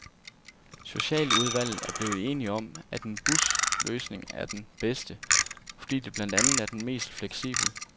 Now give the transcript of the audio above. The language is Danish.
Socialudvalget er blevet enige om, at en busløsning er den bedste, fordi det blandt andet er den mest fleksible.